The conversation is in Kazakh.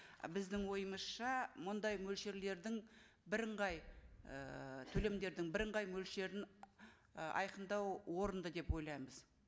і біздің ойымызша мұндай мөлшерлердің бірыңғай ііі төлемдердің бірыңғай мөлшерін і айқындау орынды деп ойлаймыз